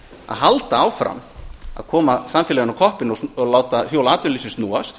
að halda áfram að koma samfélaginu á koppinn og láta hjól atvinnulífsins snúast